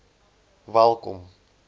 welkom